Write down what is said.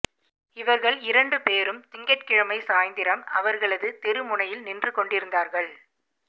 இவர்கள் இரண்டு பேரும் திங்கட்கிழமை சாய்ந்திரம் அவர்களது தெரு முனையில் நின்று கொண்டிருந்தார்கள்